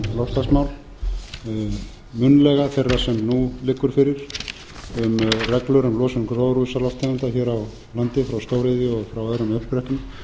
um loftslagsmál munnlega þeirrar sem nú liggur fyrir um reglur um losun gróðurhúsalofttegunda hér á landi frá stóriðju og frá öðrum uppsprettum